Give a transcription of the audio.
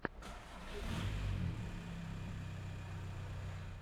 в ютубе ганз эн роузиз